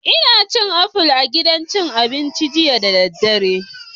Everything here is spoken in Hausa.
Ina cin akpu a gidan cin abinci jiya da daddare